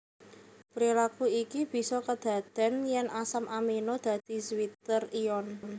Prilaku iki bisa kedadèn yèn asam amino dadi zwitter ion